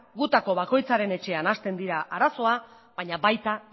gutako bakoitzaren etxean hasten dira arazoak baina baita